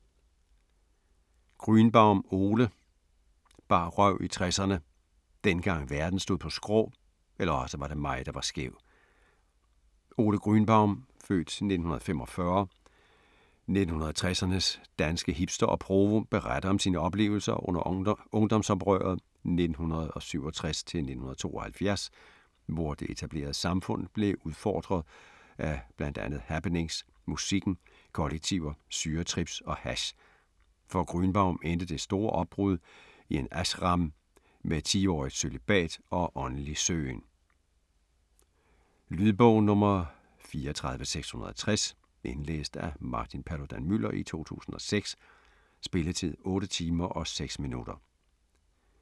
Grünbaum, Ole: Bar røv i 60'erne: dengang verden stod på skrå, eller osse var det mig der var skæv Ole Grünbaum (f. 1945), 1960'ernes danske hipster og provo, beretter om sine oplevelser under ungdomsoprøret 1967-1972, hvor det etablerede samfund blev udfordret af bl.a. happenings, musikken, kollektiver, syretrips og hash. For Grünbaum endte det store opbrud i en ashram med 10-årigt cølibat og åndelig søgen. Lydbog 34660 Indlæst af Martin Paludan-Müller, 2006. Spilletid: 8 timer, 6 minutter.